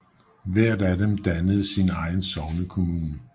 Hvert af dem dannede sin egen sognekommune